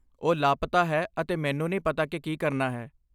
ਉਹ ਲਾਪਤਾ ਹੈ ਅਤੇ ਮੈਨੂੰ ਨਹੀਂ ਪਤਾ ਕਿ ਕੀ ਕਰਨਾ ਹੈ।